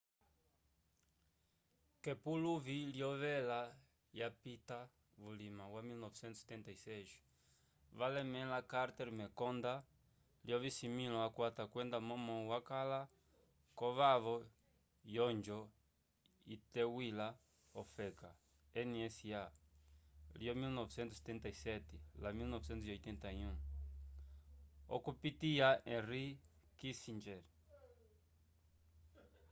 k’epuluvi lyoyela lyapita vulima wa 1976 valemẽla carter mekonda lyovisimĩlo akwata kwenda momo wakala k’ovavo yonjo iteywila ofeka nsa lyo 1977 la 1981 okupitiya henry kissinger